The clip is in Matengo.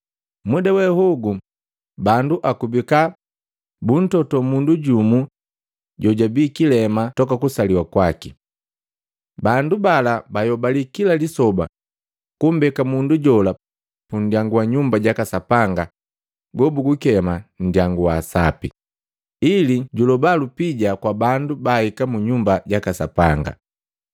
Muda we hogu bandu akubika buntoto mundu jumu jojabii kilema toka kusaliwa kwaki. Bandu bala bayobali kila lisoba kumbeka mundu jola pundyangu wa Nyumba jaka Sapanga gobugukema “Nndyangu wa sapi,” ili jwaaloba lupija kwa bandu baahika mu Nyumba jaka Sapanga.